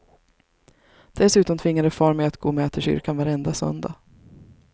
Dessutom tvingade far mig att gå med till kyrkan varenda söndag.